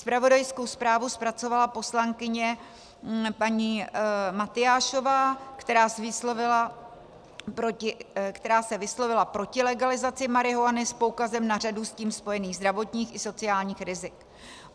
Zpravodajskou zprávu zpracovala poslankyně paní Matyášová, která se vyslovila proti legalizace marihuany s poukazem na řadu s tím spojených zdravotních i sociálních rizik.